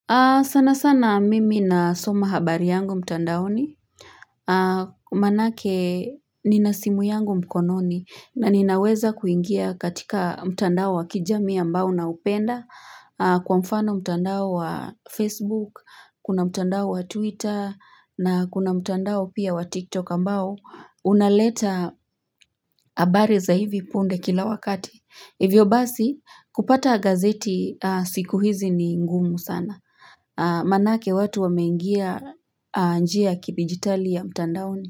Sana sana mimi nasoma habari yangu mtandaoni, manake nina simu yangu mkononi na ninaweza kuingia katika mtandao wa kijami ambao naupenda, kwa mfano mtandao wa Facebook, kuna mtandao wa Twitter, na kuna mtandao pia wa TikTok ambao, unaleta habari za hivi punde kila wakati. Hivyo basi kupata gazeti siku hizi ni ngumu sana Manake watu wameingia njia ya kidijitali ya mtandaoni.